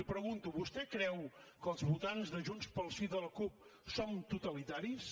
li pregunto vostè creu que els votants de junts pel sí i de la cup són totalitaris